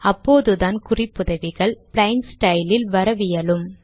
அப்போதுதான் குறிப்புதவிகள் plain style இல் வரவியலும்